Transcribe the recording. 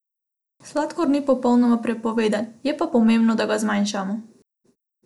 Sladkor ni popolnoma prepovedan, je pa pomembno, da ga zmanjšamo.